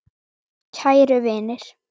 Kæru vinir!